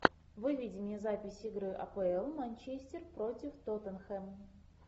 выведи мне запись игры апл манчестер против тоттенхэм